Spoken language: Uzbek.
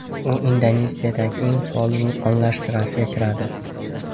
U Indoneziyadagi eng faol vulqonlar sirasiga kiradi.